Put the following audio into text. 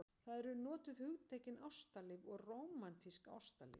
Þar eru notuð hugtökin ástalíf og rómantískt ástalíf.